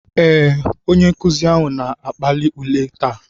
Ee, onye nkuzi ahụ na-akpali ule taa.